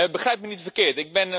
Begrijp me niet verkeerd.